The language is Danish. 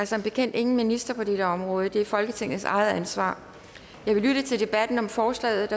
som bekendt ingen minister på dette område det er folketingets eget ansvar jeg vil lytte til debatten om forslaget